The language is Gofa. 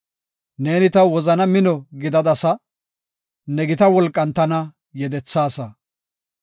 Neeni taw wozana mino gidadasa; ne gita wolqan tana yedethaasa.